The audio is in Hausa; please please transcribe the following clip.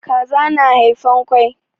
Kaza na haifan kwai.